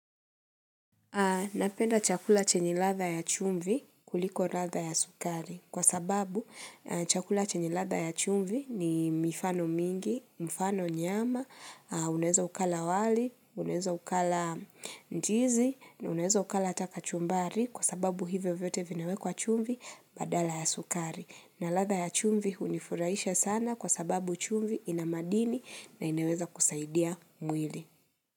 Napenda chakula chenye ladha ya chumvi kuliko ladha ya sukari kwa sababu chakula chenye ladha ya chumvi ni mifano mingi, mfano nyama, unaeza ukala wali, unaeza ukala ndizi, unaeza ukala ataka chumbari kwa sababu hivyo vyote vinawe kwa chumvi badala ya sukari. Na ladha ya chumvi unifuraisha sana kwa sababu chumvi inamadini na inaweza kusaidia mwili.